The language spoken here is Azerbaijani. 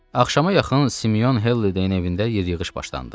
Axşama yaxın Simeon Helideyin evində yer yığış başlandı.